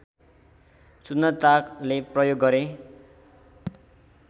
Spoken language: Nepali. सुन्दरताले प्रयोग गरे